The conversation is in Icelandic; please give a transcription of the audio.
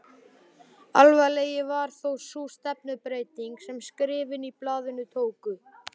Alvarlegri var þó sú stefnubreyting sem skrifin í blaðinu tóku.